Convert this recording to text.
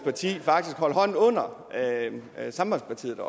parti faktisk holdt hånden under sambandspartiet